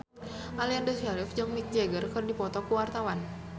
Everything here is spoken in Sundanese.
Aliando Syarif jeung Mick Jagger keur dipoto ku wartawan